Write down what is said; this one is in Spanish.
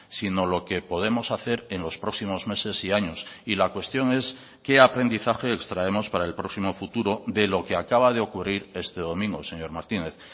sino lo que podemos hacer en los próximos meses y años y la cuestión es qué aprendizaje extraemos para el próximo futuro de lo que acaba de ocurrir este domingo señor martínez